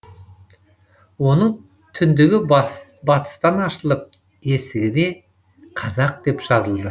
оның түндегі батыстан ашылып есігіне қазақ деп жазылды